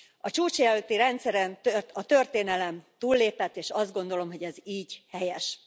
A csúcs előtti rendszeren a történelem túllépett, és azt gondolom, hogy ez így helyes.